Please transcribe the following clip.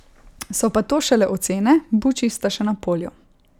So pa to šele ocene, buči sta še na polju.